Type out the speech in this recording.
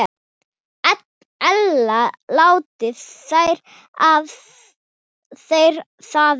Ella láti þeir það vera.